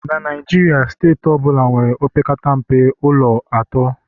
na Naijiria, steeti ọ bụla nwere opekata mpe ụlọ atọ